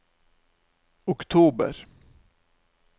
oktober